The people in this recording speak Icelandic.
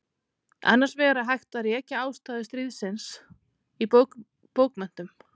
Annars vegar er hægt að rekja ástæður stríðsins í bókmenntum.